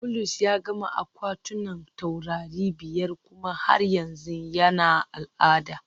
Bulus ya gama akwatunan taurari biyar kuma har yanzu yana al'ada